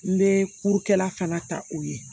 N bɛ furukɛla fana ta u ye